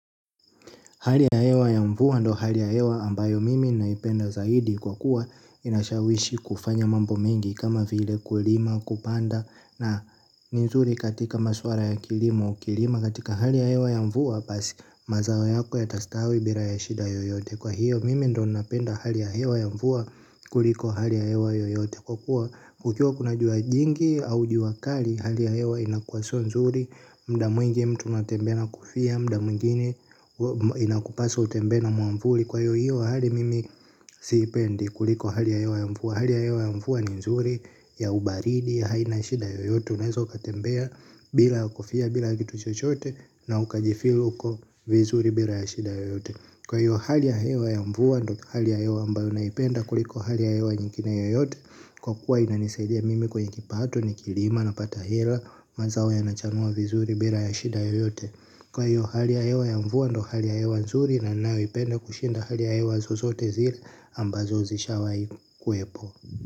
Hali ya hewa ya mvua ndiyo hali ya hewa ambayo mimi naipenda zaidi kwa kuwa inashawishi kufanya mambo mengi kama vile kulima kupanda na ni nzuri katika masuala ya kilimo ukilima katika hali ya hewa ya mvua basi mazao yako yatastawi bila ya shida yoyote kwa hiyo mimi ndiyo ninapenda hali ya hewa ya mvua kuliko hali ya hewa yoyote kwa kuwa kukiwa kuna jua jingi au jua kali hali ya hewa inakuwa siyo nzuri muda mwingi mtu unatembea na kofia muda mwingine inakupasa utembee na mwavuli kwa hiyo hiyo hali mimi siipendi kuliko hali ya hewa ya mvua hali ya hewa ya mvua ni nzuri ya ubaridi haina shida yoyote unaweza ukatembea bila kofia bila kitu chochote na ukajifeel uko vizuri bila ya shida yoyote kwa hiyo hali ya hewa ya mvua ndiyo hali ya hewa ambayo naipenda kuliko hali ya hewa nyingine yoyote. Kwa kuwa inanisaidia mimi kwenye kipato nikilima napata hela mazao yanachanua vizuri bila ya shida yoyote kwa hiyo hali ya hewa ya mvua ndiyo hali ya hewa nzuri na ninayoipenda kushinda hali ya hewa zozote zile ambazo zishawahi kuwepo.